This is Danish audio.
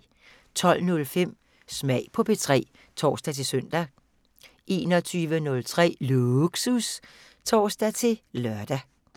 12:05: Smag på P3 (tor-søn) 21:03: Lågsus (tor-lør)